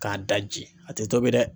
K'a daji a te tobi dɛ!